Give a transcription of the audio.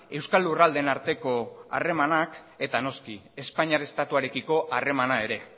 euskal lurraldeen arteko harremanak eta noski espainiar estatuarekiko harremana ere